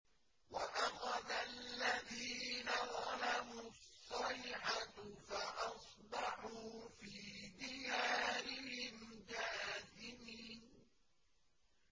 وَأَخَذَ الَّذِينَ ظَلَمُوا الصَّيْحَةُ فَأَصْبَحُوا فِي دِيَارِهِمْ جَاثِمِينَ